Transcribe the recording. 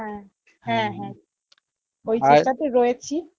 হ্যাঁ রয়েছি